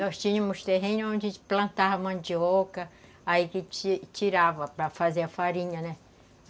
Nós tínhamos terreno onde a gente plantava mandioca, aí que ti tirava para fazer a farinha, né?